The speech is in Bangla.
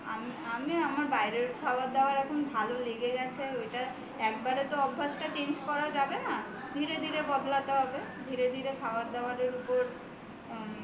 আমার বাইরের খাবার দাবার এখন ভালো লেগে গেছে আর ওইটা একেবারেই তো অভ্যাসটা change করা যাবে না ধীরে ধীরে বদলাতে হবে ধীরে ধীরে খাবার দাবারের ওপর